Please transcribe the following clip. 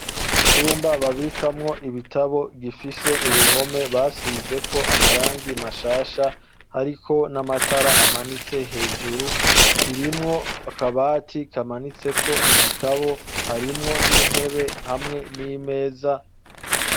Icumba babikamwo ibitabo gifise uruhome basizeko amarangi mashasha ariko namatara amanitse hejuru kirimwo akabati kamanitseko ibitabu harimwo nintebe, hamwe nimeza.